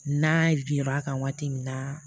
N'a bir'a kan waati min na